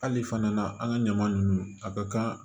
Hali fana an ka ɲaman nunnu a ka kan